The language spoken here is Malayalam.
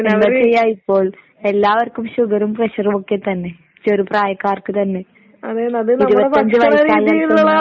എന്താ ചെയ്യാ ഇപ്പോൾ എല്ലാവർക്കും ഷുഗറും പ്രെഷറുമൊക്കെത്തന്നെ, ചെറു പ്രായക്കാർക്ക് തന്നെ. ഇരുപത്തഞ്ച് വയസ്സായി നിക്കുന്ന